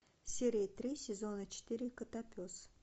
серия три сезона четыре котопес